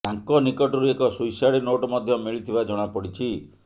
ତାଙ୍କ ନିକଟରୁ ଏକ ସୁଇସାଇଡ୍ ନୋଟ୍ ମଧ୍ୟ ମିଳିଥିବା ଜଣାପଡ଼ିଛି